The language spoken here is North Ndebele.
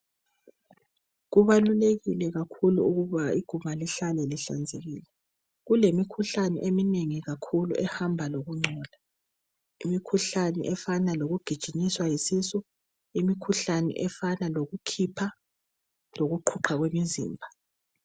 Kubalulekile kakhulu ukuba iguma lihlale lihlanzekile kulemikhuhlane eminengi kakhulu ehamba lokungcola, imikhuhlane efana lokugijinyiswa yisisu imikhuhlane efana lokukhipha lokuqhuqha kwemizimba.